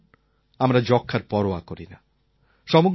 কিন্তু এখন আমরা যক্ষ্মার পরোয়া করি না